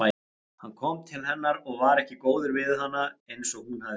Hann kom til hennar og var ekki góður við hana eins og hún hafði vonað.